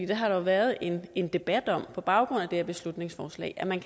det har der jo været en en debat om på baggrund af det her beslutningsforslag at man